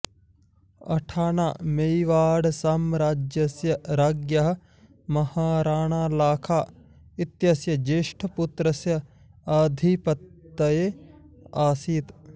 अठाना मेवाडसाम्राज्यस्य राज्ञः महाराणालाखा इत्यस्य ज्येष्ठपुत्रस्य आधिपत्ये आसीत्